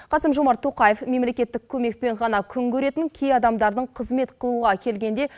қасым жомарт тоқаев мемлекеттік көмекпен ғана күн көретін кей адамдардың қызмет қылуға келгенде